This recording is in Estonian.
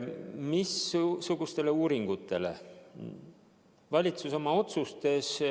Missugustele uuringutele valitsus oma otsustes tugineb?